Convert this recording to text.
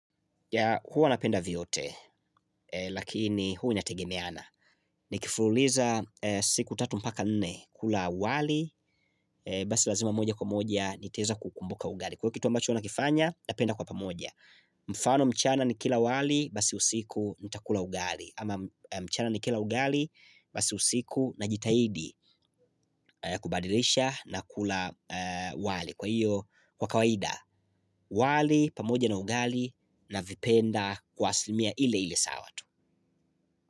Huwa napenda vyote, lakini huwa inategemeana. Nikifululiza siku 3 mpaka 4 kula wali, basi lazima moja kwa moja nitaeza kukumbuka ugali. Kwaio kitu ambacho nakifanya, napenda kwa pamoja. Mfano mchana nikila wali, basi usiku nitakula ugali. Ama mchana nikila ugali, basi usiku najitaidi kubadilisha na kula wali. Kwaiyo kwa kawaida wali pamoja na ugali navipenda kwa aslimia ile ile sawa tu.